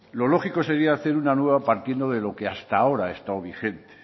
lo lógico sería hacer una nueva partiendo de lo que hasta ahora ha estado vigente